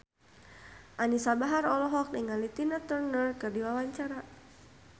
Anisa Bahar olohok ningali Tina Turner keur diwawancara